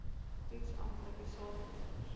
toets amptelike saadmonsters